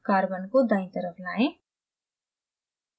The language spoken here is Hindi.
carbon को दायीं तरफ लाएं